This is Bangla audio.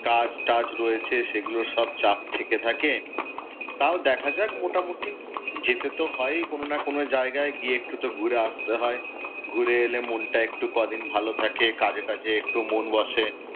কাজ টাজ রয়েছে সেগুলোর সব চাপ থেকে থাকে। তাও দেখা যাক মোটামুটি, যেতে তো হয়েই কোন না কোন জায়াগায় গিয়ে একটু তো ঘুরে আসতে হয়, ঘুরে এলে মনটা একটু কদিন ভাল থাকে, কাজে কাজে একটু মন বসে।